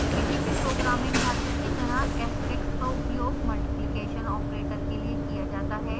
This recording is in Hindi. किसी भी प्रोग्रामिंग भाषा की तरह asterix का उपयोग multiplication operator के लिए किया जाता है